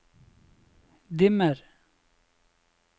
dimmer